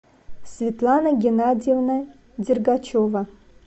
светлана геннадьевна дергачева